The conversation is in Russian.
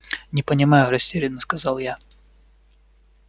не понимаю растерянно сказал я